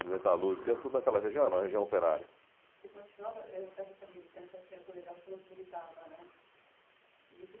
metalúrgica, tudo naquela região era uma região operária. Você continuava, eh, você acha que a militância, porque no colegial você falou que militava, né? E isso